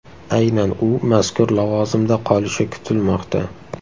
Aynan u mazkur lavozimda qolishi kutilmoqda.